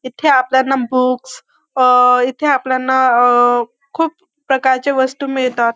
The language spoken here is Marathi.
इथे आपल्याना बुक्स अ इथे आपल्याना अ खूप प्रकारच्या वस्तू मिळतात.